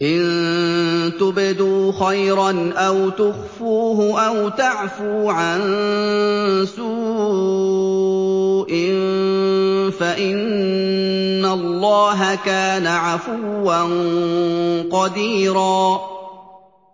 إِن تُبْدُوا خَيْرًا أَوْ تُخْفُوهُ أَوْ تَعْفُوا عَن سُوءٍ فَإِنَّ اللَّهَ كَانَ عَفُوًّا قَدِيرًا